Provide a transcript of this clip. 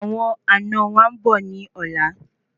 Awọn àna wa ńbò ní ọ̀la